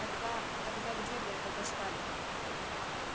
тогда тогда где вы это достали